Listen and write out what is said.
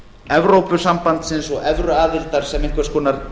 evrópusambandsins og evruaðildar sem einhvers konar